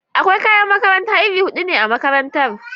Akwai kayan makaranta iri hudu ne a makarantara.